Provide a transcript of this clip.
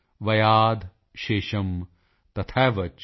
ਵਯਾਧਿ ਸ਼ੇਸ਼ਮ੍ ਤਥੈਵਚ